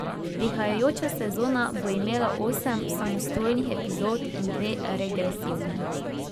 Prihajajoča sezona bo imela osem samostojnih epizod in dve regresivni.